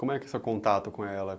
Como é que é seu contato com ela?